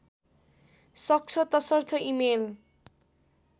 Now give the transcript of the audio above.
सक्छ तसर्थ इमेल